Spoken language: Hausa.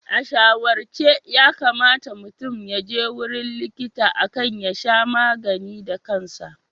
A shawarce yakamata mutum yaje wurin likita akan ya sha magani da kansa.